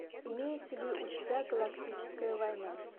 имеется ли у тебя галактическая война